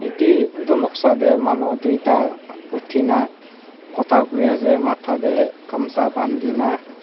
dae etu noksa dae manu toita otina kota kuri asae matae dae kamsa bantina.